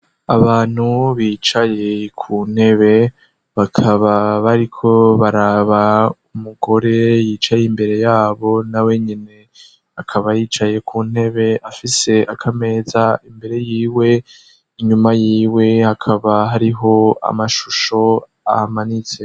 Abantu bicaye ku ntebe bakaba bariko baraba umugore yicaye imbere yabo na wenyine akaba yicaye ku ntebe afise akameza imbere y'iwe inyuma yiwe akaba hariho amashusho amanitse.